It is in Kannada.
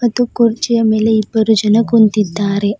ಒಂದು ಕುರ್ಚಿಯ ಮೇಲೆ ಇಬ್ಬರು ಜನ ಕುಂತಿದ್ದಾರೆ.